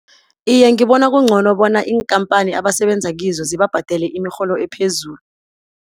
Iye, ngibona kungcono bona iinkhamphani abasebenza kizo zibabhadele imirholo ephezulu.